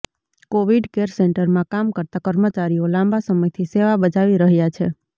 Covid care સેન્ટરમાં કામ કરતા કર્મચારીઓ લાંબા સમયથી સેવા બજાવી રહ્યાં છે